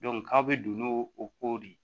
k'a bɛ don n'o o ko de ye